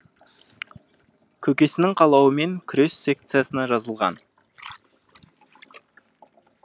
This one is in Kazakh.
көкесінің қалауымен күрес секциясына жазылған